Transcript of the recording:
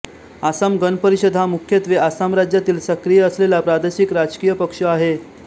आसाम गण परिषद हा मुख्यत्त्वे आसाम राज्यात सक्रिय असलेलाप्रादेशिक राजकीय पक्ष आहे